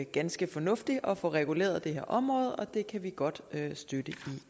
ganske fornuftigt at få reguleret det her område og det kan vi godt støtte